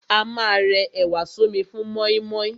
A ma rẹ ẹ̀wà sọ́mi fún mọ́ímọ́í.